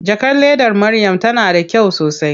Jakar ledar Maryam tana da kyau sosai.